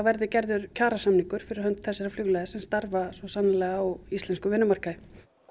verði gerður kjarasamningur fyrir þessa flugliða sem starfa sannanlega á íslenskum vinnumarkaði